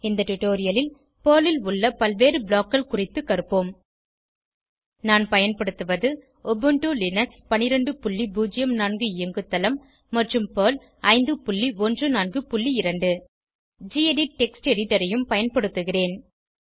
இந்த டுடோரியலில் பெர்ல் ல் உள்ள பல்வேறு BLOCKகள் குறித்து கற்போம் நான் பயன்படுத்துவது உபுண்டு லினக்ஸ் 1204 இயங்கு தளம் மற்றும் பெர்ல் 5142 நான் கெடிட் டெக்ஸ்ட் எடிட்டர் ஐயும் பயன்படுத்துகிறேன்